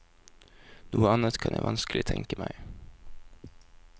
Noe annet kan jeg vanskelig tenke meg.